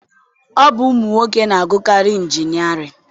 Ọ bụ ụmụnwoke na-agụkarị injinịarịn